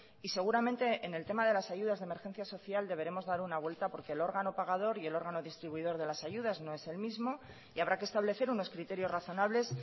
y seguramente en el tema de las ayudas de emergencia social deberemos dar una vuelta porque el órgano pagador y el órgano distribuidor de las ayudas no es el mismo y habrá que establecer unos criterios razonables